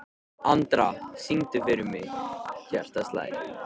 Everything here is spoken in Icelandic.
Andra, syngdu fyrir mig „Hjartað slær“.